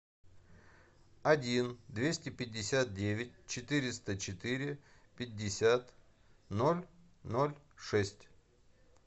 один двести пятьдесят девять четыреста четыре пятьдесят ноль ноль шесть